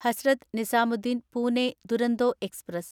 Hazrat Nizamuddin Pune Duronto express